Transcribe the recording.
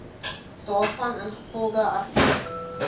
daarvan ingevolge artikel